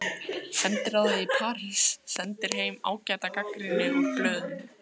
Sendiráðið í París sendir heim ágæta gagnrýni úr blöðum.